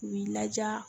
U b'i laja